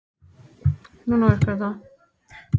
Er hann ekki alveg jafn stórhuggulegur?